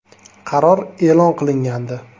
Qaror e’lon qilingandi.